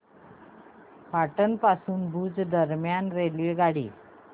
पाटण पासून भुज दरम्यान रेल्वेगाडी